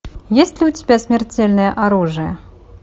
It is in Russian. есть ли у тебя смертельное оружие